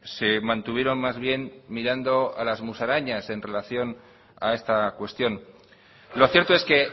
se mantuvieron más bien mirando a las musarañas en relación a esta cuestión lo cierto es que